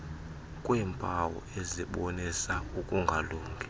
kweempawu ezibonisa ukungalungi